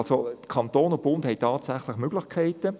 Die Kantone und der Bund haben tatsächlich Möglichkeiten.